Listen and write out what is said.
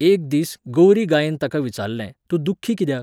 एक दीस, गौरी गायेन ताका विचारले, तूं दुख्खी कित्याक?